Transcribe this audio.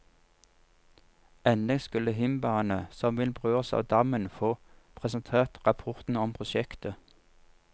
Endelig skulle himbaene som vil berøres av dammen få presentert rapporten om prosjektet.